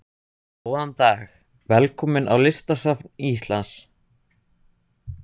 Góðan dag. Velkomin á Listasafn Íslands.